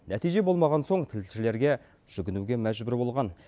нәтиже болмаған соң тілшілерге жүгінуге мәжбүр болған